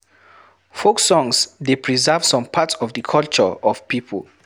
Folk songs dey preserve some part of di culture of pipo